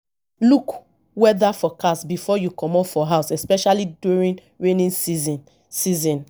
look weather forecast before you comot for house especially during rainy season season